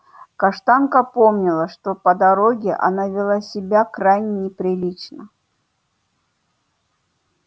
каштанка помнила что по дороге она вела себя крайне неприлично